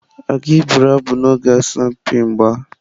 Ọ gị bụrụ abụ n'oge asọmpi mgba?